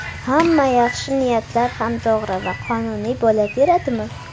Hamma yaxshi niyatlar ham to‘g‘ri va qonuniy bo‘laveradimi?